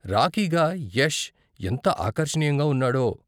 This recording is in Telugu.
రాకీగా యష్ ఎంత ఆకర్షణీయంగా ఉన్నాడో.